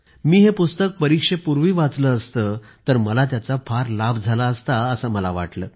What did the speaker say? मी हे पुस्तक परीक्षेपूर्वी वाचले असते तर मला त्याचा फार लाभ झाला असता असे मला वाटले